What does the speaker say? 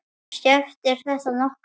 Skiptir þetta nokkru?